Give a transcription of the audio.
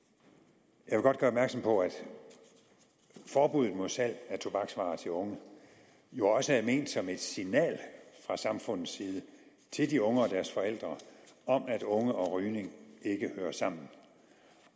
jeg vil godt gøre opmærksom på at forbuddet mod salg af tobaksvarer til unge jo også er ment som et signal fra samfundets side til de unge og deres forældre om at unge og rygning ikke hører sammen